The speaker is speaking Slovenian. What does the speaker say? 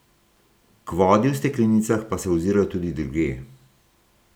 K vodi v steklenicah pa se ozirajo tudi drugje.